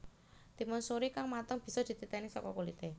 Timun suri kang mateng bisa dititèni saka kulité